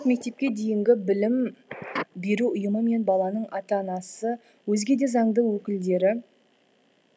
мектепке дейінгі білім беру ұйымы мен баланың ата анасы өзге де заңды өкілдері